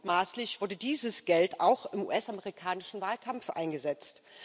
Mutmaßlich wurde dieses Geld auch im US amerikanischen Wahlkampf eingesetzt.